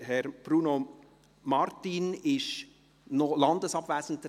Herr Bruno Martin ist noch landesabwesend.